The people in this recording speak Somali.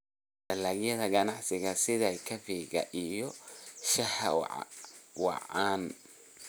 Dalagyada ganacsiga sida kafeega iyo shaaha waa caan.